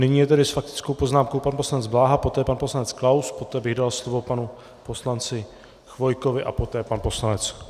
Nyní je tedy s faktickou poznámkou pan poslanec Bláha, poté pan poslanec Klaus, poté bych dal slovo panu poslanci Chvojkovi a poté pan poslanec Kupka.